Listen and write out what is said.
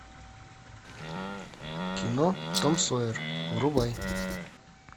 кино том сойер врубай